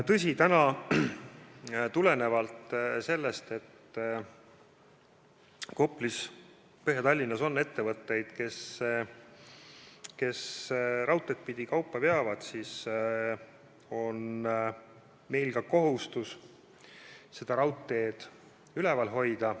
Tõsi, tulenevalt sellest, et Põhja-Tallinnas Koplis on ettevõtteid, kes raudteed pidi kaupa veavad, on meil kohustus seda raudteed töös hoida.